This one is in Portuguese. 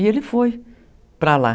E ele foi para lá.